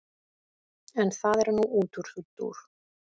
en það er nú útúrdúr